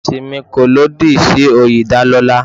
Ẹ̀sìn mi kò lòdì sí oyè ìdálọ́lá.